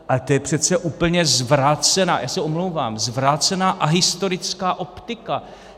Ale to je přece úplně zvrácená, já se omlouvám, zvrácená a historická optika.